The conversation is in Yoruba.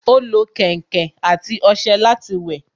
Ó lo kẹ̀ǹkẹ̀ àti ọṣẹ láti wẹ̀